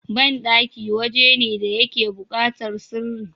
banɗaki waje ne da yake bukatar sirri